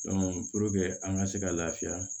an ka se ka lafiya